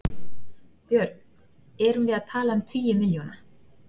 Björn: Erum við að tala um tugi milljóna?